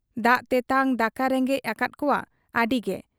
ᱫᱟᱜ ᱛᱮᱴᱟᱝ ᱫᱟᱠᱟ ᱨᱮᱸᱜᱮᱡ ᱟᱠᱟᱫ ᱠᱚᱣᱟ ᱟᱹᱰᱤᱜᱮ ᱾